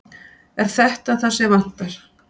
Er þetta það sem vantar?